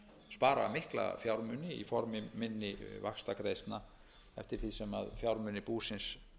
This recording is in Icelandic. spara mikla fjármuni í formi minni vaxtagreiðslna eftir því sem fjármunir búsins